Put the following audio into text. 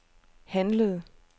handlede